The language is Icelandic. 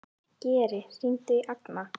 Geri, hringdu í Agna.